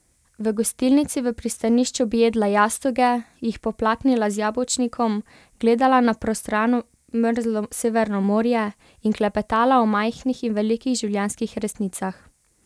V gostilnici v pristanišču bi jedla jastoge, jih poplaknila z jabolčnikom, gledala na prostrano mrzlo Severno morje in klepetala o majhnih in velikih življenjskih resnicah.